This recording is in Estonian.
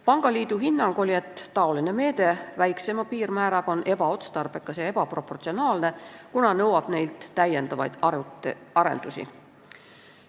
Pangaliidu hinnang oli, et väiksema piirmääraga meede on ebaotstarbekas ja ebaproportsionaalne, kuna nõuab neilt täiendavaid arendusi.